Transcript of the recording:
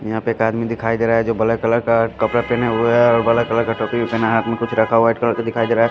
यहाँ पे एक आदमी दिखाई दे रहा है जो ब्लैक कलर का कपडा पहने हुवा है और ब्लैक कलर का टोपी भी पहना है हाँथ में कुछ रखा हुआ वाइट कलर दिखाई दे रहा है।